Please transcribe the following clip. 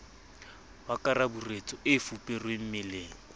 wa karaburetso o fuperweng meleng